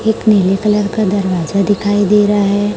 एक नीले कलर का दरवाजा दिखाई दे रहा है।